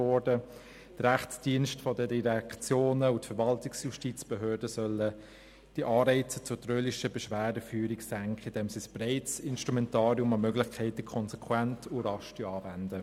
Die Rechtsdienste der Direktionen und die Verwaltungsjustizbehörden sollen die Anreize zur trölerischen Beschwerdeführung senken, indem sie ein breites Instrumentarium an Möglichkeiten konsequent und rasch anwenden.